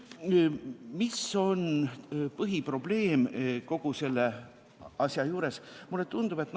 Mis on põhiprobleem kogu selle asja juures?